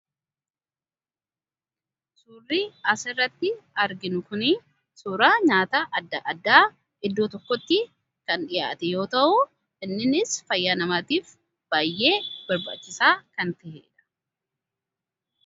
suurrii as irratti arginu kunii suuraa nyaata adda addaa iddoo tokkotti kan dhiyaate yoo ta'u, inninis fayyaa namaatiif baay'ee barbaachisaa kan taheedha